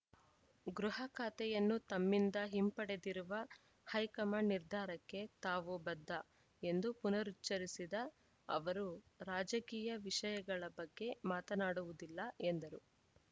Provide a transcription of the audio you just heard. ಗೃಹ ಖಾತೆಯನ್ನು ತಮ್ಮಿಂದ ಹಿಂಪಡೆದಿರುವ ಹೈಕಮಾಂಡ್‌ ನಿರ್ಧಾರಕ್ಕೆ ತಾವು ಬದ್ಧ ಎಂದು ಪುನರುಚ್ಚರಿಸಿದ ಅವರು ರಾಜಕೀಯ ವಿಷಯಗಳ ಬಗ್ಗೆ ಮಾತನಾಡುವುದಿಲ್ಲ ಎಂದರು